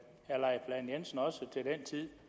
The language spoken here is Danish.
jensen også til den tid